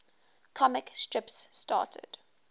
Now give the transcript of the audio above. comic strips started